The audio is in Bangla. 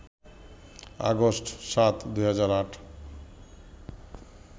আগস্ট ৭, ২০০৮